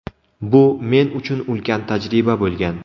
Bu – men uchun ulkan tajriba bo‘lgan”.